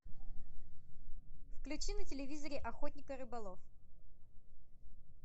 включи на телевизоре охотник и рыболов